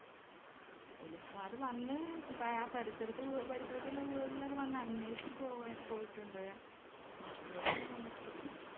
Police മാര് വന്ന് പേ അ പരിപാസരത്ത്ള്ള വീട്ടുകളിലൊക്കെ വന്ന് അന്വേഷിച്ച് പോവാൻ പോയിട്ടുണ്ട് വീട്ടിലൊട്ടൊന്നും വന്നിട്ടില്ല